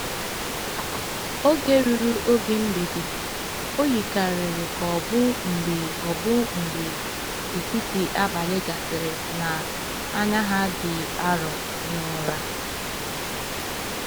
Oge ruru oge mgbede, o yikarịrị ka ọ bụ mgbe ọ bụ mgbe etiti abalị gasịrị, na “anya ha dị arọ” n’ụra.